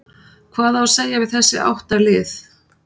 Hvað á að segja við þessi átta lið?